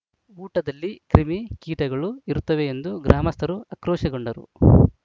ಊಟದಲ್ಲಿ ಕ್ರಿಮಿ ಕೀಟಗಳು ಇರುತ್ತವೆ ಎಂದು ಗ್ರಾಮಸ್ಥರು ಆಕ್ರೋಶ ಗೊಂಡರು